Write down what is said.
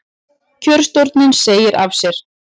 Kjörstjórn segir af sér